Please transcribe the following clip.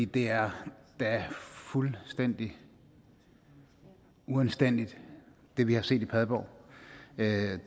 det er da fuldstændig uanstændigt hvad vi har set i padborg